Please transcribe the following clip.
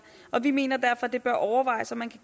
og vi mener derfor at det bør overvejes om man kan